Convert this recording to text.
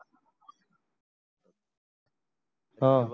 हा